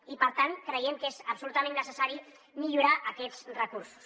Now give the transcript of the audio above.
i per tant creiem que és absolutament necessari millorar aquests recursos